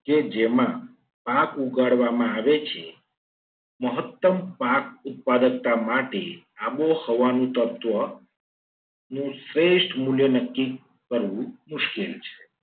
કે જેમાં પાક ઉગાડવામાં આવે છે. મહત્તમ પાક ઉત્પાદકતા માટે આબોહવા નું તત્વ નું શ્રેષ્ઠ મૂલ્ય નક્કી કરવું મુશ્કેલ છે.